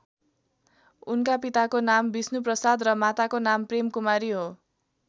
उनका पिताको नाम विष्णुप्रसाद र माताको नाम प्रेमकुमारी हो।